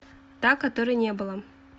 та которой не было